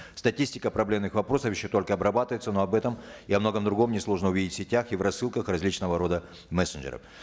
статистика проблемных вопросов еще только обрабатывается но об этом и о многом другом несложно увидеть в сетях и в рассылках различного рода мессенджеров